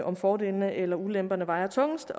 om fordelene eller ulemperne vejer tungest